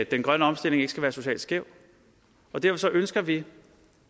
den grønne omstilling ikke skal være social skæv og derfor ønsker vi